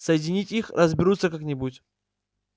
соединить их разберутся как-нибудь